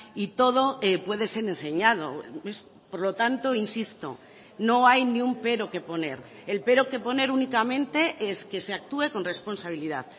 y todo puede ser enseñado por lo tanto insisto no hay ni un pero que poner el pero que poner únicamente es que se actúe con responsabilidad